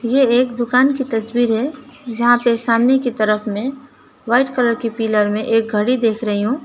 ये एक दुकान की तस्वीर है जहां पे सामने की तरफ में व्हाइट कलर के पिलर में एक घड़ी देख रही हूं।